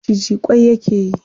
Maciji ƙwai yake yi.